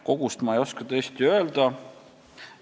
Kogust ma ei oska tõesti öelda.